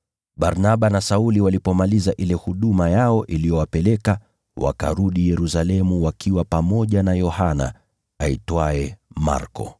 Barnaba na Sauli walipomaliza ile huduma yao iliyowapeleka, wakarudi Yerusalemu wakiwa pamoja na Yohana aitwaye Marko.